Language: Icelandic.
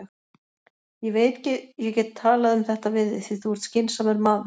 Ég veit ég get talað um þetta við þig, því þú ert skynsamur maður.